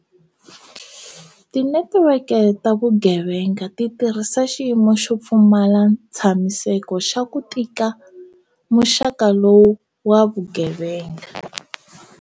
Tinetiweke leti ta vugeve nga ti tirhisa xiyimo xo pfumala ntshamiseko xa ku tika muxaka lowu wa vugeve nga.